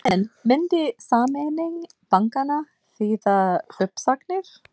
En myndi sameining bankanna þýða uppsagnir?